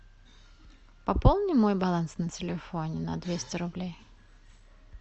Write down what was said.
пополни мой баланс на телефоне на двести рублей